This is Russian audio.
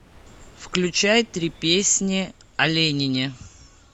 включай три песни о ленине